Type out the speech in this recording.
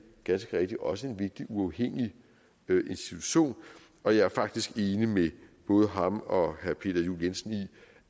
ganske rigtigt også en vigtig uafhængig institution og jeg er faktisk enig med både ham og herre peter juel jensen i